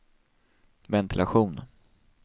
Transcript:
ventilation